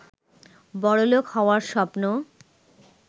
বড়লোক হওয়ার স্বপ্ন